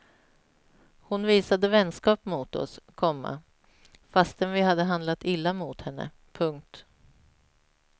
Hon visade vänskap mot oss, komma fastän vi hade handlat illa mot henne. punkt